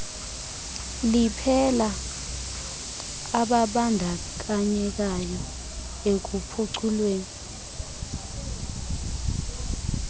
liphela abandakanyekayo ekuphuculweni